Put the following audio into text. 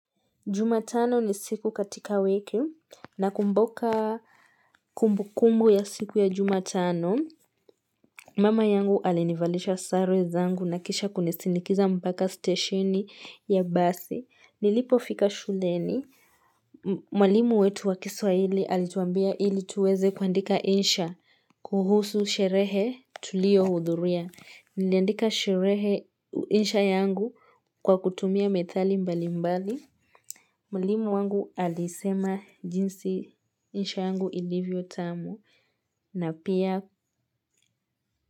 Jumatano ni siku katika wiki nakumbuka kumbukumbu ya siku ya jumatano Mama yangu alinivalisha sare zangu na kisha kunisindikiza mpaka steshini ya basi nilipo fika shuleni Mwalimu wetu wa kiswahili alituambia ili tuweze kuandika insha kuhusu sherehe tuliyo hudhuria niliandika sherehe insha yangu kwa kutumia methali mbali mbali Mwalimu wangu alisema jinsi insha yangu ilivyo tamu na pia.